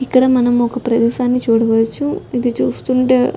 ఇక్కడ మనమొక ప్రదేశాన్ని చూడవచ్చు ఇది చూస్తుంటే --